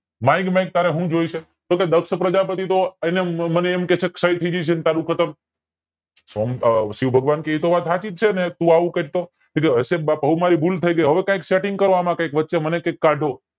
માંગ માંગ તારે સુ જોવે છેતો કે દક્ષ પ્રજાપતિ જો એને મને એમ કે છે તારું ખતમ સોમ આ શિવ ભગવાન કે એતો વાત સાચી જ છેને તું આવું કર તો હશે બાપા હવે મારી ભૂલ થાય ગય હવે એમાં કંઈક SETTING કરો એમાં કંઈક વચ્ચે મને કાઢો